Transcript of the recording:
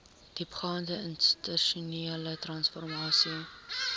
diepgaande institusionele transformasie